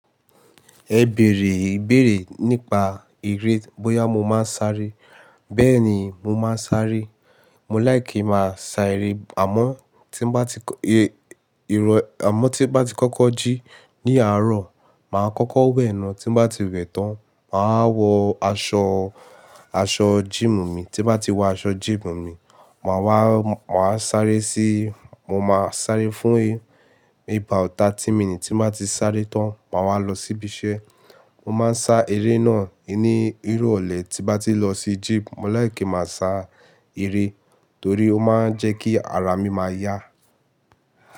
Ẹ bèrè ìbéèrè nípa eré, bóyá mo máa ń sáré. Bẹ́ẹ̀ ni, mo máa ń sáré. Mo láìkì máa sá eré, àmọ́ tí mo bá ti kó, e, ìrọ̀, àmọ́ tí mo bá ti kọ́kọ́ jí ní àárọ̀, màá kọ́kọ́ wẹ̀ náà tí mo bá ti wẹ̀ tán, màá wọ aṣọ, aṣọ jíìmù mi, tí mo bá ti wọ aṣọ jíìmù mi, màá wá, màá sáré sí, mo máa sáré fún, e, ní about thirty minutes tí n bá ti sáré tán, màá wá lọ síbí iṣẹ́. Mo máa ń sá eré náà ní irọ̀lẹ tí mo bá ti lọ sí jím, mo láìkì ki n máa sá eré torí ó máa ń jẹ́ kí ara mi máa yá.